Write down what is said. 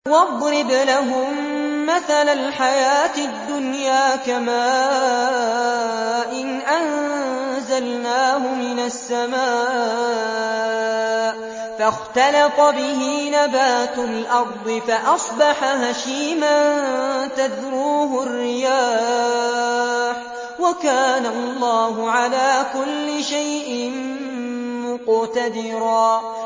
وَاضْرِبْ لَهُم مَّثَلَ الْحَيَاةِ الدُّنْيَا كَمَاءٍ أَنزَلْنَاهُ مِنَ السَّمَاءِ فَاخْتَلَطَ بِهِ نَبَاتُ الْأَرْضِ فَأَصْبَحَ هَشِيمًا تَذْرُوهُ الرِّيَاحُ ۗ وَكَانَ اللَّهُ عَلَىٰ كُلِّ شَيْءٍ مُّقْتَدِرًا